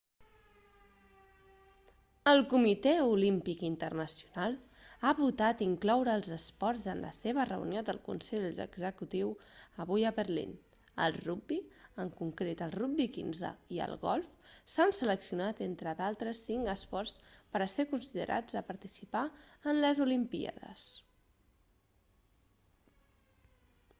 el comitè olímpic internacional ha votat incloure els esports en la seva reunió de consell executiu avui a berlín el rugbi en concret el rugbi quinze i el golf s'han seleccionat entre d'altres cinc esports per a ser considerats a participar en les olimpíades